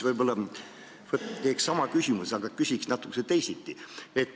Ma esitan sama küsimuse, aga küsin natukene teisiti.